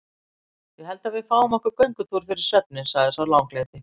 Ég held við fáum okkur göngutúr fyrir svefninn, sagði sá langleiti.